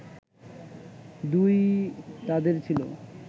দুই-ই তাঁদের ছিল